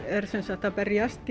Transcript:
er sem sagt að berjast